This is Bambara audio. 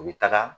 U bɛ taga